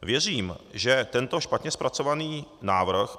Věřím, že tento špatně zpracovaný návrh